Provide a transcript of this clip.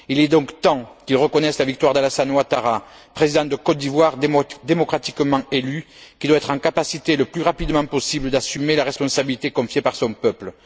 Il est donc temps qu'il reconnaisse la victoire d'Alassane Ouattara, Président de Côte d'Ivoire démocratiquement élu, qui doit être en capacité, le plus rapidement possible, d'assumer la responsabilité confiée par son peuple.